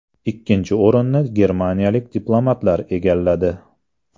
Ikkinchi o‘rinni germaniyalik diplomatlar egalladi.